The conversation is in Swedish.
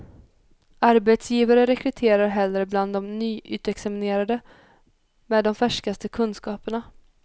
Arbetsgivare rekryterar hellre bland de nyutexaminerade, med de färskaste kunskaperna.